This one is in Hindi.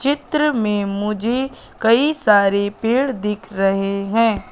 चित्र में मुझे कई सारे पेड़ दिख रहे हैं।